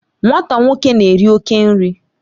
Nwata nwoke na-eri oke nri